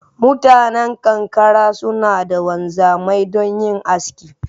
Mutanan kankara suna da Wanzamai don yin aski